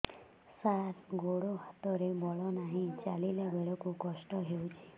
ସାର ଗୋଡୋ ହାତରେ ବଳ ନାହିଁ ଚାଲିଲା ବେଳକୁ କଷ୍ଟ ହେଉଛି